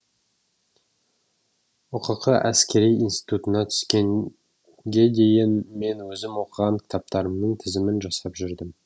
ұқк әскери институтына түскенге дейін мен өзім оқыған кітаптарымның тізімін жасап жүрдім